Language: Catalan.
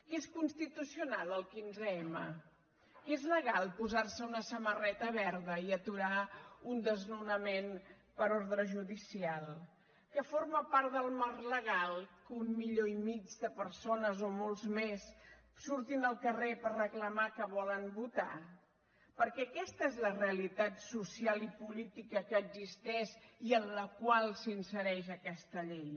que és constitucional el quinzem que és legal posarse una samarreta verda i aturar un desnonament per ordre judicial que forma part del marc legal que un milió i mig de persones o molts més surtin al carrer per reclamar que volen votar perquè aquesta és la realitat social i política que existeix i en la qual s’insereix aquesta llei